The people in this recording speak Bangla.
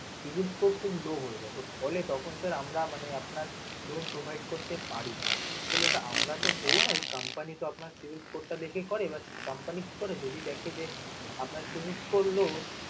savings score খুব low হয়ে যায়, তো ফলে তখন sir আমরা মানে আপনার loan provide করতে পারি না. basically ওটা আমরা তো করি না, ওই company টা savings score টা দেখে করে but company কি করে, যদি দেখে যে আপনার savings score low